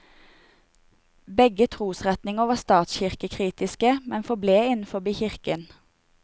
Begge trosretninger var statskirkekritiske, men forble innenfor kirken.